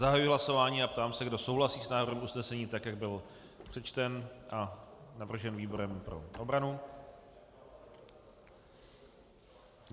Zahajuji hlasování a ptám se, kdo souhlasí s návrhem usnesení tak, jak byl přečten a navržen výborem pro obranu.